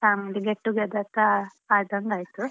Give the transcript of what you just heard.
Family get together ಆದಂಗಾಯಿತು .